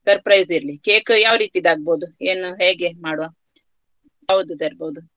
Surprise ಇರ್ಲಿ cake ಯಾವರೀತಿದ್ ಆಗಬೋಹುದು ಏನು ಹೇಗೆ ಮಾಡುವ ಯಾವ್ದು ತರಬಹುದು.